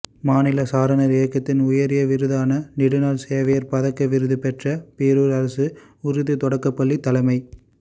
மாநில சாரணா் இயக்கத்தின் உயரிய விருதான நெடுநாள் சேவையாளா் பதக்க விருதுபெற்ற பேளூா் அரசு உருது தொடக்கப் பள்ளித் தலைமை